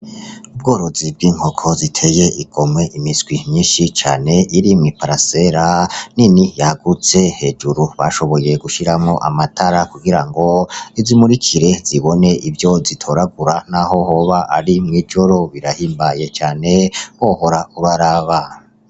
Ubworozi bw'inkoko ziteye igomwe imiswi myinshi cane iri mwiparasera nini yagutse hejuru bashoboye gushiramwo amatara kugirango izimurikire zibone ivyo zitoragura naho hoba ari mwijoro birahimbaye cane wohora uraraba.